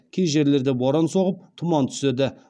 кей жерлерде боран соғып тұман түседі